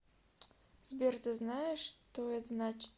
сбер ты знаешь что это значит